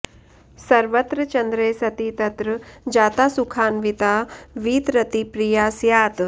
सर्वत्र चन्द्रे सति तत्र जाता सुखान्विता वीतरतिप्रिया स्यात्